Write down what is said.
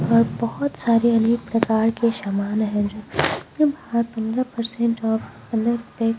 और बहुत सारे अनेक प्रकार के शमान है जो पंद्रह परसेंट ऑफ --